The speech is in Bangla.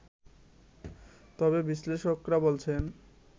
তবে বিশ্লেষকরা বলছেন